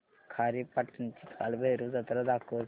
खारेपाटण ची कालभैरव जत्रा दाखवच